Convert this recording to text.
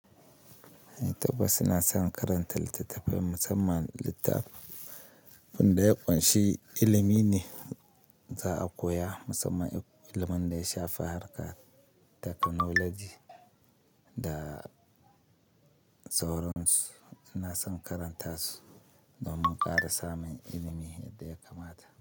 Eh tabas su na son karanta littattafan musamman littafin da ya ƙunshi ilimi ne za a koya musamman ilimin da ya shafi harkar teknoloji da tsauran su. Ina son karanta su domin ƙara samun ilimi yadda ya kamata.